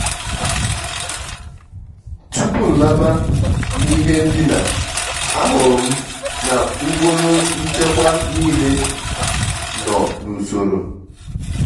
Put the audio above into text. tupú nlábá ná ìhé ndíná àhụ́rụ́ m ná ùkpóró nchékwà níilé nọ́ n’ùsóró.